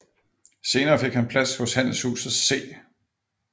Senere fik han plads hos handelshuset C